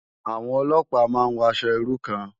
Awòn òlòpá má n wò ãṣò irú kàn